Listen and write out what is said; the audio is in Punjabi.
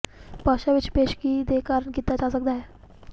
ਭਾਸ਼ਾ ਵਿਚ ਪੇਸ਼ਗੀ ਦੇ ਕਾਰਨ ਕੀਤਾ ਜਾ ਸਕਦਾ ਹੈ